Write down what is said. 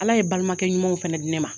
Ala ye balimakɛ ɲumanw fana di ne ma.